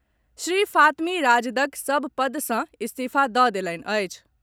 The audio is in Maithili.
श्री फातमी राजदक सभ पद सॅ इस्तीफा दऽ देलनि अछि।